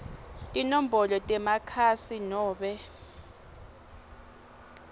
tinombolo temakhasi nobe